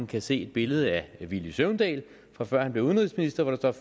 kan se et billede af villy søvndal fra før han blev udenrigsminister hvor der